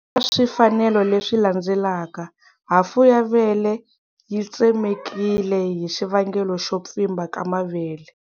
Eka swifanelo leswi landzelaka, hafu ya vele yi tsemekile hi xivangelo xo pfimba ka mavele.